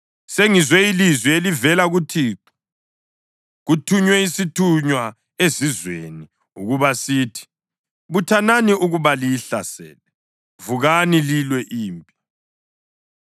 Sengizwe ilizwi elivela kuThixo: Kuthunywe isithunywa ezizweni ukuba sithi, “Buthanani ukuba liyihlasele! Vukani lilwe impi!”